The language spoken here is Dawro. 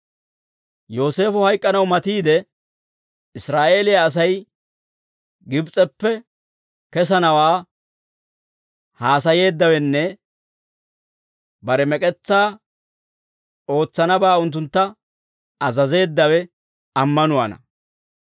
Yooseefo hayk'k'anaw matiidde, Israa'eeliyaa Asay Gibs'eppe kesanawaa haasayeeddawenne bare mek'etsaa ootsanabaa unttuntta azazeeddawe ammanuwaana.